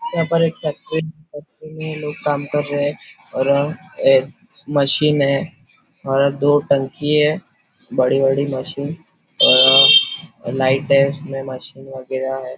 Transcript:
यहाँ पर एक फैक्ट्री फैक्ट्री में लोग काम कर रहे है और एक मशीन है और दो टंकी है बड़ी बड़ी मशीन अ लाईटे उसमे मशीन वगैरा है।